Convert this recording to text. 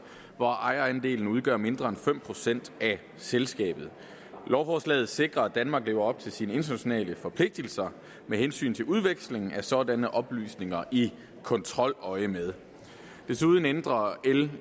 hvor ejerandelen udgør mindre end fem procent af selskabet lovforslaget sikrer at danmark lever op til sine internationale forpligtelser med hensyn til udveksling af sådanne oplysninger i kontroløjemed desuden ændrer l